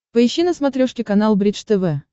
поищи на смотрешке канал бридж тв